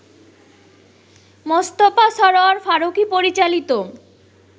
মোস্তফা সরয়ার ফারুকী পরিচালিত